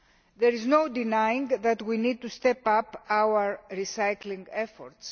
There is no denying that we need to step up our recycling efforts.